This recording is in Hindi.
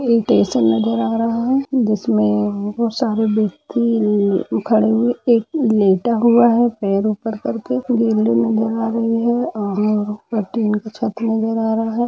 स्टेशन नजर आ रहा है जिसमे अ बहुत सारे व्यक्ति खड़े हुए हैएक लेटा हुआ है पेर ऊपर करके और टीन का छत नजर आ रहा हे।